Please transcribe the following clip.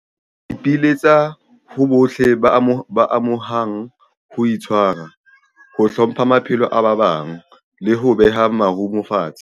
Re ipiletsa ho bohle ba amehang ho itshwara, ho hlompha maphelo a ba bang, leho beha marumo fatshe.